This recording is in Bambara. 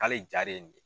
K'ale ja de ye nin ye